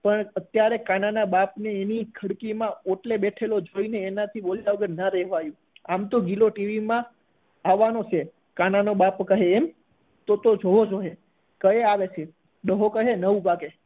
પણ અત્યારે કાના ના બાપ ની એની ખડકી માં ઓટલે બેઠેલો જોઈને એના થી ના રહેવાયું આમ તો ગિલો ટીવી માં આવાનો છે તો કાના નો બાપ કહે એમ તો તો જોવો જોઈએ ક્યારે આવે છે ડોહો કહે નવ વાગ્યે